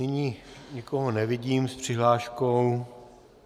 Nyní nikoho nevidím s přihláškou.